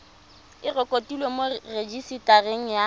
e rekotiwe mo rejisetareng ya